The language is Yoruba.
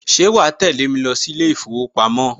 Ṣe wàá tẹ́lẹ̀ mi lọ sí ilé ìfowópamọ́?